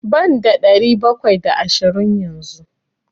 Banda ɗari bakwai da ashirin yanzu.